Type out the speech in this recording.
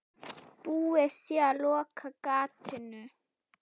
Búið sé að loka gatinu.